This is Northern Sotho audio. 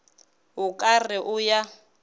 o ka re o ya